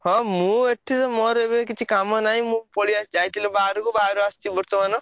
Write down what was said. ହଁ ମୁଁ ଏଠି ତ ମୋର ଏବେ କିଛି କାମ ନାହିଁ ମୁଁ ପଳେଇଆସଚି ଯାଇଥିଲି ବାହାରକୁ ବାହାରୁ ଆସଚି ବର୍ତ୍ତମାନ।